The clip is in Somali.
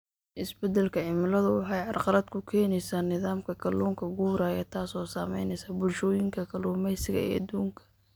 Isbeddelka cimiladu waxay carqalad ku keenaysaa nidaamka kalluunka guuraya, taasoo saamaynaysa bulshooyinka kalluumaysiga ee adduunka.